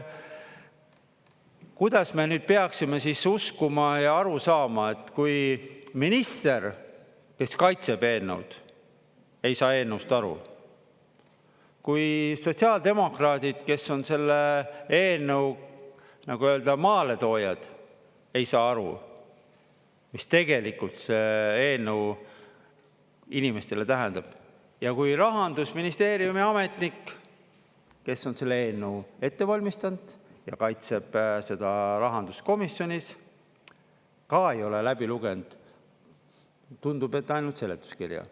Kuidas me nüüd peaksime siis uskuma ja aru saama, et kui minister, kes kaitseb eelnõu, ei saa eelnõust aru; kui sotsiaaldemokraadid, kes on selle eelnõu nii-öelda maaletoojad, ei saa aru, mis tegelikult see eelnõu inimestele tähendab; ja kui Rahandusministeeriumi ametnik, kes on selle eelnõu ette valmistanud ja kaitseb seda rahanduskomisjonis, ka ei ole läbi lugenud, tundub, et ainult seletuskirja.